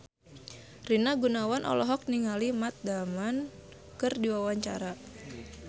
Rina Gunawan olohok ningali Matt Damon keur diwawancara